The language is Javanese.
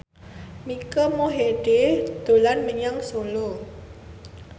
Mike Mohede dolan menyang Solo